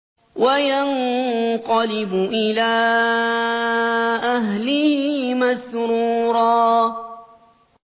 وَيَنقَلِبُ إِلَىٰ أَهْلِهِ مَسْرُورًا